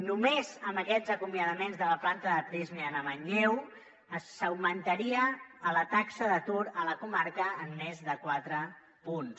només amb aquests acomiadaments de la planta de prysmian a manlleu s’augmentaria la taxa d’atur a la comarca en més de quatre punts